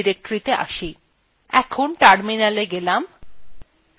ctrl + alt + tএকসাথে টিপে ubuntuত়ে terminal শুরু করা যায়